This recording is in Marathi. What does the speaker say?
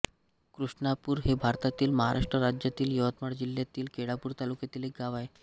कृष्णापूर हे भारतातील महाराष्ट्र राज्यातील यवतमाळ जिल्ह्यातील केळापूर तालुक्यातील एक गाव आहे